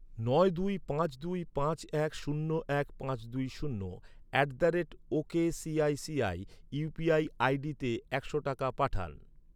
নয় দুই পাঁচ দুই পাঁচ এক শূন্য এক পাঁচ দুই শূন্য at the rate ok ICICI UPI আইডিতে একশো টাকা পাঠান।